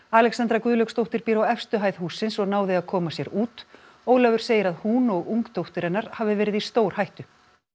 Alexandra Guðlaugsdóttir býr á efstu hæð hússins og náði að koma sér út Ólafur segir að hún og ung dóttir hennar hafi verið í stórhættu